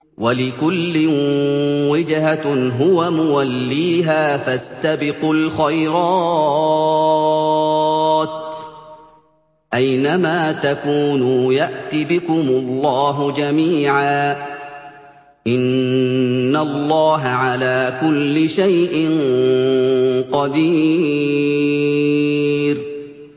وَلِكُلٍّ وِجْهَةٌ هُوَ مُوَلِّيهَا ۖ فَاسْتَبِقُوا الْخَيْرَاتِ ۚ أَيْنَ مَا تَكُونُوا يَأْتِ بِكُمُ اللَّهُ جَمِيعًا ۚ إِنَّ اللَّهَ عَلَىٰ كُلِّ شَيْءٍ قَدِيرٌ